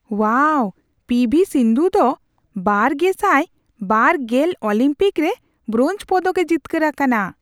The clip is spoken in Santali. ᱳᱣᱟᱣ, ᱯᱤ ᱵᱷᱤ ᱥᱤᱱᱫᱷᱩ ᱫᱚ ᱒᱐᱒᱐ ᱚᱞᱤᱢᱯᱤᱠ ᱨᱮ ᱵᱨᱳᱧᱡ ᱯᱚᱫᱚᱠᱼᱮ ᱡᱤᱛᱠᱟᱹᱨ ᱟᱠᱟᱱᱟ ᱾